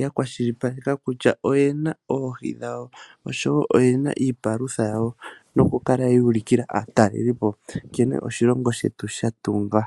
ya kwashilipaleka kutya oyena oohi dhawo osho wo oyena iipalutha yawo. Noku kala yu ulikila aatalelipo nkene oshilongo shetu shatungwa.